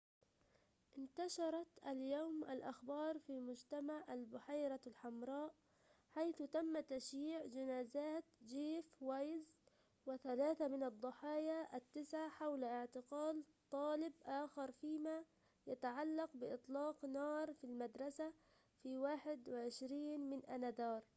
انتشرت اليوم الأخبار في مجتمع البحيرة الحمراء حيث تم تشييع جنازات جيف وايز وثلاثة من الضحايا التسعة حول اعتقال طالب آخر فيما يتعلق بإطلاق النار في المدرسة في 21 من آذار